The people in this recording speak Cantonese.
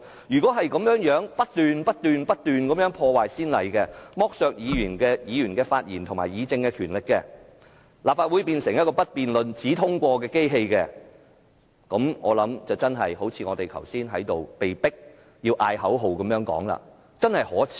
如果再這樣不斷破壞先例，剝削議員的發言和議政權力，立法會變成一個不辯論、只通過的機器，那麼便好像我們剛才被迫喊出的口號一樣，真可耻！